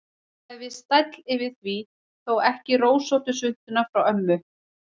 Það er viss stæll yfir því, þó ekki rósóttu svuntuna frá ömmu.